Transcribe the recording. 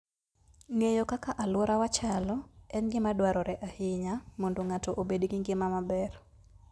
Ng'eyo kaka alworawa chalo en gima dwarore ahinya mondo ng'ato obed gi ngima maber.